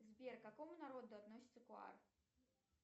сбер к какому народу относится куар